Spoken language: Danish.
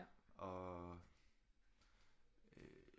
Og øh